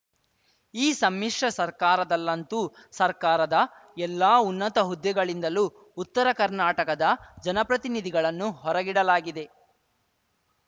ಈ ಸಮ್ಮಿಶ್ರ ಸರ್ಕಾರದಲ್ಲಂತೂ ಸರ್ಕಾರದ ಎಲ್ಲಾ ಉನ್ನತ ಹುದ್ದೆಗಳಿಂದಲೂ ಉತ್ತರ ಕರ್ನಾಟಕದ ಜನಪ್ರತಿನಿಧಿಗಳನ್ನು ಹೊರಗಿಡಲಾಗಿದೆ